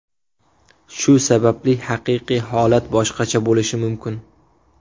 Shu sababli haqiqiy holat boshqacha bo‘lishi mumkin.